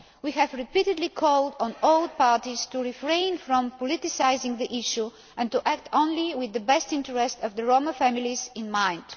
all. We have repeatedly called on all parties to refrain from politicising the issue, and to act only with the best interests of the Roma families in